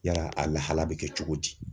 Yala a lahala bɛ kɛ cogo di?